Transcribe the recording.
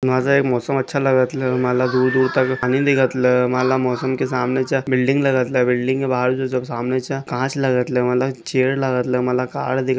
माझा एक मौसम अच्छा लगतल मला दूर दूर तक आणि दिखतल मला मौसम के सामनेछा बिल्डिंग लगतल बिल्डिंग मा सामनेछा काँचला लगतल माला चेअर लगतल माला कार दिख --